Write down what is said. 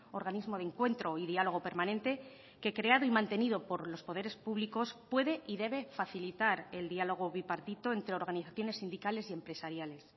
organismo de encuentro y diálogo permanente que creado y mantenido por los poderes públicos puede y debe facilitar el diálogo bipartito entre organizaciones sindicales y empresariales